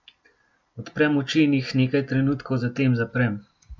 Odprem oči in jih nekaj trenutkov zatem zaprem.